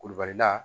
Kulubalila